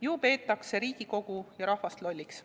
Ju peetakse Riigikogu ja rahvast lolliks.